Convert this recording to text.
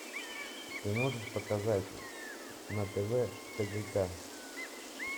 ты можешь показать на тв тдк